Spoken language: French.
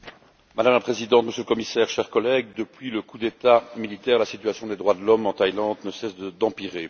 Madame la Présidente, Monsieur le Commissaire, chers collègues, depuis le coup d'État militaire, la situation des droits de l'homme en Thaïlande ne cesse d'empirer.